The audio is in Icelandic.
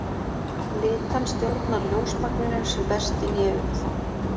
Litan stjórnar ljósmagninu sem berst inn í augað.